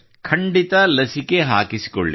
ಖಂಡಿತ ಲಸಿಕೆ ಹಾಕಿಸಿಕೊಳ್ಳಿ